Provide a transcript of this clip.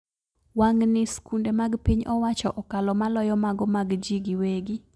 Wang`ni skunde mag piny owacho okalo maloyo mago mag ji gi wegi